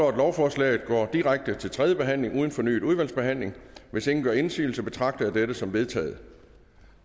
at lovforslaget går direkte til tredje behandling uden fornyet udvalgsbehandling hvis ingen gør indsigelse betragter jeg dette som vedtaget